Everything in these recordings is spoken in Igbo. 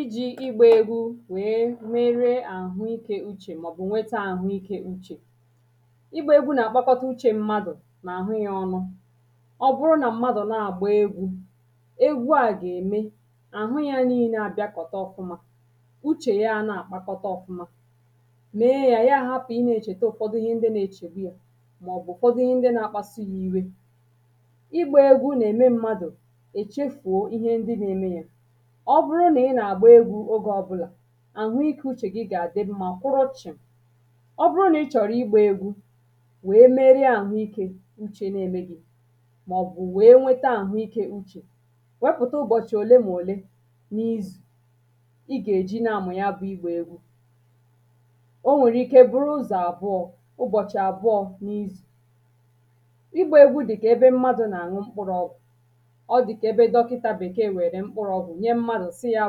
iji̇ ịgbȧ egwu wèe mere àhụ ikė uchè màọ̀bụ̀ nwete àhụ ikė uchè ịgbȧ egwu nà-àkpakọta uchė mmadụ̀ nà àhụ yȧ ọnụ̇ ọ bụrụ na mmadụ̀ na-àgba egwu̇ egwu à gà-ème àhụ yȧ nii̇ne àbịakọ̀ta ọfụma uchè ya a na-àkpakọta ọfụma mee yȧ ya ahapụ̀ ị nà-echète ụ̀fọdụ ihe ndị na-echègbu yȧ màọ̀bụ̀ ụ̀fọdụ ihe ndị na-akpasi yȧ iwe ịgbȧ egwu nà-ème mmadụ̀ ọ bụrụ nà ị nà-àgba egwu̇ ogė ọbụlà àhụ ikė uchè gị gà-àdị mma kwụrụ chị̀m̀ ọ bụrụ nà ị chọ̀rọ̀ ịgbȧ egwu̇ wèe mere àhụ ikė uchè na-emegighi màọ̀bụ̀ wèe nwete àhụ ikė uchè wepụ̀ta ụbọ̀chị̀ òlemòli n’izù ị gà-èji na-amụ̀ ya bụ̇ ịgbȧ egwu o nwèrè ike bụrụ ụzọ̀ àbụọ̀ ụbọ̀chị̀ àbụọ̀ n’izù ịgbȧ egwu dị̀kà ebe mmadụ̀ nà-àṅụ mkpụrụọgwụ̀ ọ dị̀kà ebe dọkịta bèkeè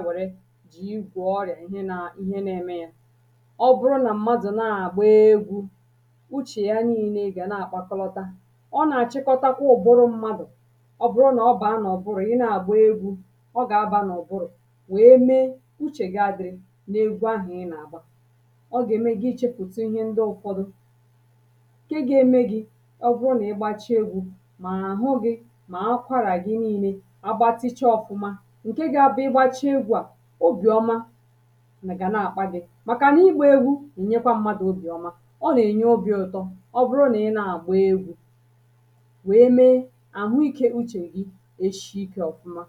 were jì igwè ọrịà ihe nȧ ihe na-eme yȧ ọ bụrụ nà mmadụ̀ na-àgba egwu̇ uchè ya nii̇ne gà na-àkpatalọta ọ nà-àchịkọta kwa ụ̀bụrụ mmadụ̀ ọ bụrụ nà ọ bàa nà ọ bụrụ̀ i na-àgba egwu̇ ọ gà-abȧ nà ọ bụrụ̀ wèe mee uchè gị ȧdị̇ n’egwu ahụ̀ ị nà-àgba ọ gà-ème gị ichėpùtụ ihe ndị ụfọdụ ǹke ga-eme gị̇ ọ bụrụ nà ịgbacha egwu̇ mà àhụ gị̇ mà akwarà gị nii̇ne agbatịcha ọfụma obìọma gà nà-àkpa gị̇ màkà nà ịkpȧ egwu ènyekwa mmadụ̀ obìọma ọ nà-ènye obi̇ ụtọ ọ bụrụ nà ị nà-àgba egwu̇ wèe mee àhụ ikė uchè gị eshi ikė ọfụma